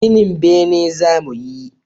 Ginin bene za mu yi